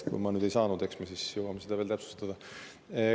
Kui ma ei saanud, eks me jõuame siis seda veel täpsustada.